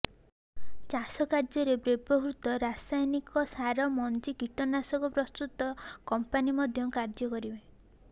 ଚାଷ କାର୍ଯ୍ୟରେ ବ୍ୟବହୃତ ରସାୟନିକ ସାର ମଞ୍ଜି କୀଟନାଶକ ପ୍ରସ୍ତୁତ କମ୍ପାନୀ ମଧ୍ୟ କାର୍ଯ୍ୟ କରିବେ